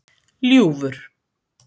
Ljúfur